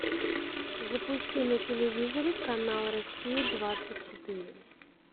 запусти на телевизоре канал россия двадцать четыре